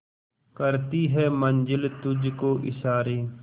करती है मंजिल तुझ को इशारे